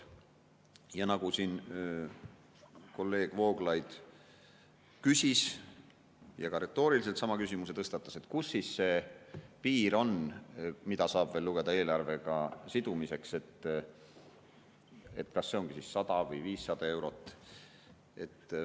Ja nagu siin kolleeg Vooglaid küsis, retooriliselt sama küsimuse tõstatas, et kus siis see piir on, kuni saab veel lugeda eelarvega sidumiseks, kas see ongi siis 100 või 500 eurot.